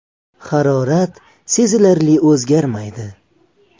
Harorat sezilarli o‘zgarmaydi.